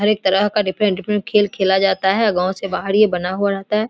हर एक तरह का डिफरेंट डिफरेंट खेल खेला जाता है गाव से बाहर ये बना हुआ रहता है।